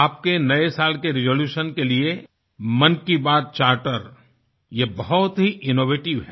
आपके नए साल के रिजोल्यूशन के लिए मन की बात चार्टर ये बहुत ही इनोवेटिव है